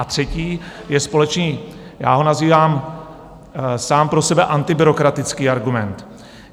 A třetí je společný, já ho nazývám sám pro sebe antibyrokratický argument.